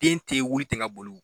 Den tɛ wuli ten ka boli o